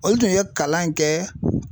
O tun ye kalan in kɛ